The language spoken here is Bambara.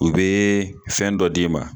U be fɛn dɔ d'i ma